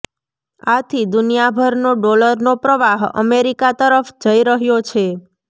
આથી દુનિયાભરનો ડોલરનો પ્રવાહ અમેરિકા તરફ જઇ રહ્યો છે